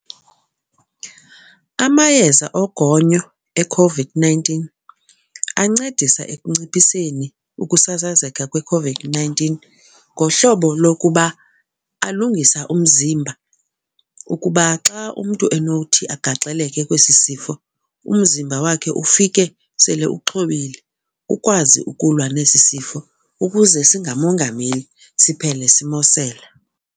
Amayeza ogonyo eCOVID-nineteen ancedisa ekunciphiseni ukusasazeka kweCOVID-nineteen ngohlobo lokuba alungisa umzimba ukuba xa umntu enothi agaxeleke kwesi sifo umzimba wakhe ufike sele uxhobile ukwazi ukulwa nesi sifo ukuze singamongameli siphele simosela.